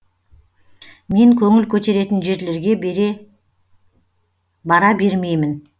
мен көңіл көтеретін жерлерге бара бермеймін